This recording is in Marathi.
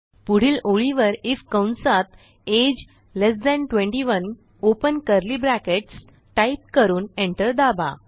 पुढील ओळीवर आयएफ कंसात अगे ल्ट 21 ओपन कर्ली ब्रॅकेट्स टाईप करून एंटर दाबा